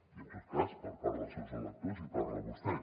i en tot cas per part dels seus electors hi parla vostè